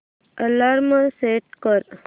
alarm set कर